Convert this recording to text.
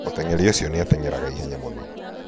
mũteng'eri ũcio nĩ ateng'eraga ihenya mũno